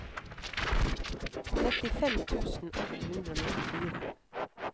trettifem tusen åtte hundre og nittifire